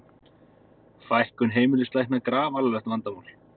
Fækkun heimilislækna grafalvarlegt vandamál